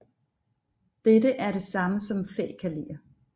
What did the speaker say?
Dette er det samme som fækalier